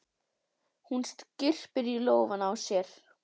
Hún skyrpir í lófana á sér.